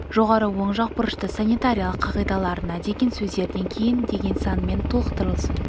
жоғары оң жақ бұрышта санитариялық қағидаларына деген сөздерден кейін деген санмен толықтырылсын